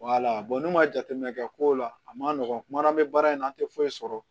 n'u ma jateminɛ kɛ ko la a ma nɔgɔn kuma na n bɛ baara in na an tɛ foyi sɔrɔ